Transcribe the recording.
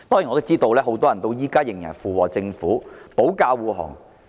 我知道很多人至今仍然附和政府和為政府保駕護航。